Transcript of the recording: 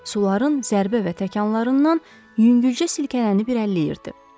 suların zərbə və təkanlarından yüngülcə silkələnib irəliləyirdi.